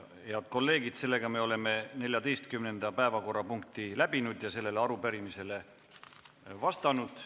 Hea kolleegid, me oleme 14. päevakorrapunkti läbinud ja sellele arupärimisele vastanud.